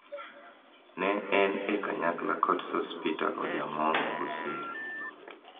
Ne en e kanyakla kod Sospeter Ojaamong (Busia),